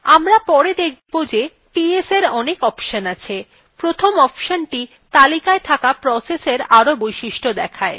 আমরা পরে দেখব ps ps এর অনেক অপশন আছে প্রথম অপশনthe তালিকায় থাকা processesএর আরো বৈশিষ্ট্য দেখায়